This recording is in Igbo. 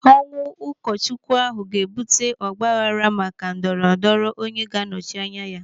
Ọnwụ ụkọchukwu ahụ ga-ebute ọgbaaghara maka ndọrọ ndọrọ onye ga-anọchi anya ya.